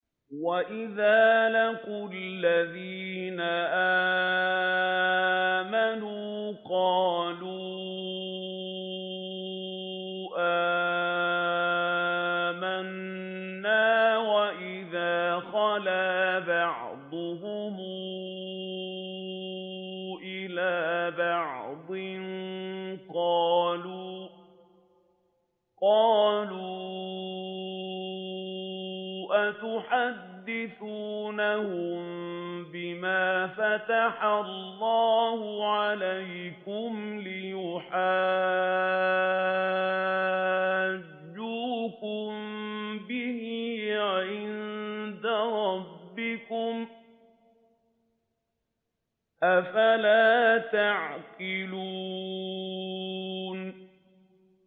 وَإِذَا لَقُوا الَّذِينَ آمَنُوا قَالُوا آمَنَّا وَإِذَا خَلَا بَعْضُهُمْ إِلَىٰ بَعْضٍ قَالُوا أَتُحَدِّثُونَهُم بِمَا فَتَحَ اللَّهُ عَلَيْكُمْ لِيُحَاجُّوكُم بِهِ عِندَ رَبِّكُمْ ۚ أَفَلَا تَعْقِلُونَ